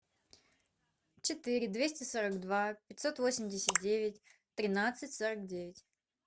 четыре двести сорок два пятьсот восемьдесят девять тринадцать сорок девять